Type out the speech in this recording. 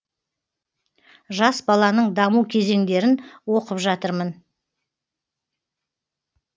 жас баланың даму кезеңдерін оқып жатырмын